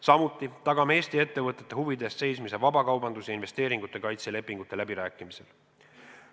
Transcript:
Samuti tagame Eesti ettevõtete huvide eest seismise vabakaubandus- ja investeeringute kaitse lepingute läbirääkimistel.